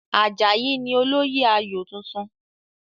Àjàyí ni olóyè ayò tuntun.